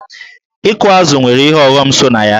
Ịkụ azụ̀ nwere ihe ọghọm so na ya.